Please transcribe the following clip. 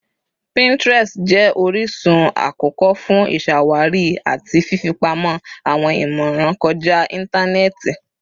Pinterest jẹ orisun akọkọ fun iṣawari ati fifipamọ awọn imọran kọja intanẹẹti.